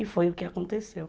E foi o que aconteceu.